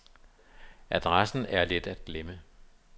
Adressen er let at glemme.